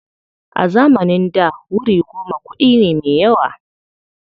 A zamanin da wuri goma kuɗi ne me yawa.